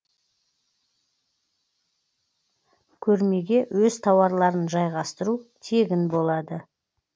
көрмеге өз тауарларын жайғастыру тегін болады